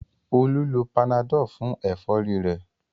Olú lo panadol fún ẹ̀fọ́rí rẹ̀